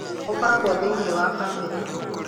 Ũkoragwo thĩ-inĩ wa bamĩrĩ.